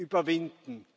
überwinden.